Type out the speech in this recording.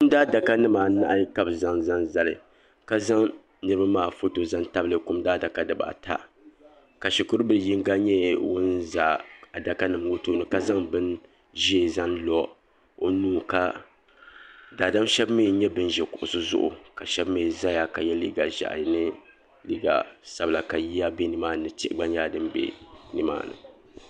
Kum Daadaka nima anahi ka bɛ zaŋ zali ka zaŋ niriba maa foto zaŋ tabili kum daadaka nima ata ka shukuru bila yinga nyɛ ŋun za adaka nima ŋɔ tooni ka zaŋ bin'ʒee n lo o nuu ka daadam sheba mee n nyɛ ban ʒi kuɣusi zuɣu ka sheba mee zaya ka ye liiga ʒehi ni liiga sabla ka yiya be nimaani ni tihi gba nyɛla din be nimaani.